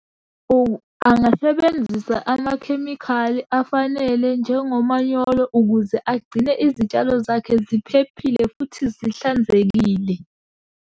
Angasebenzisa amakhemikhali afanele njengomanyolo ukuze agcine izitshalo zakhe ziphephile futhi zihlanzekile.